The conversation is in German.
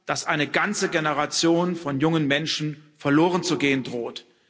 dass eine ganze Generation von jungen Menschen verlorenzugehen droht.